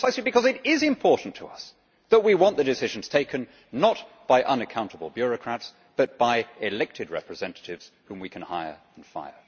It is precisely because it is important to us that we want the decisions to be taken not by unaccountable bureaucrats, but by elected representatives whom we can hire and fire.